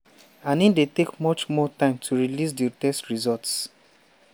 “and e dey take much more time to release di test results.